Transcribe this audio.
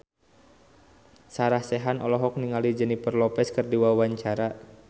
Sarah Sechan olohok ningali Jennifer Lopez keur diwawancara